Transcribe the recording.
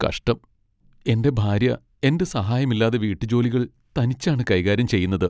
കഷ്ടം, എന്റെ ഭാര്യ എന്റെ സഹായമില്ലാതെ വീട്ടുജോലികൾ തനിച്ചാണ് കൈകാര്യം ചെയ്യുന്നത്.